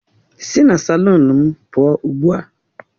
Sị na salụnu m pụọ ugbu a!